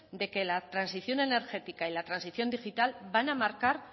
de que la transición energética y la transición digital van a marcar